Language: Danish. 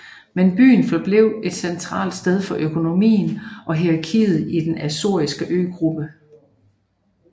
Men byen forblev et centralt sted for økonomien og hierarkiet i den azoriske øgruppe